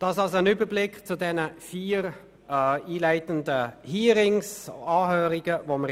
» Dies war ein Überblick über die vier einleitenden Anhörungen in